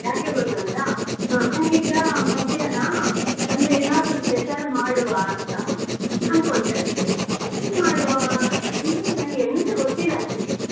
ಯಾಕೆ ಗೊತ್ತುಂಟಾ ನಂಗೀಗ ಮಧ್ಯಾಹ್ನ ಅಂದ್ರೆ ಏನಾದ್ರೂ special ಮಾಡುವ ಅಂತ ಅನ್ಕೊಳ್ತಾ ಇದ್ದೆ ಏನು ಮಾಡುವ ಅಂದ್ರೆ ನಂಗೆ ಎಂತಗೊತ್ತಿಲ್ಲ actually .